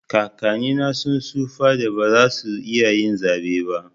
kakanni na sun tsufan da ba za su iya zaɓe ba.